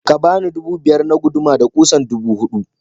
Ka bani dubu biyar na guduma da kusan dubu hudu.